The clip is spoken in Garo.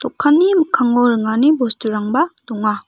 dokanni mikkango ringani bosturangba donga.